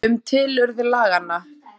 Um tilurð laganna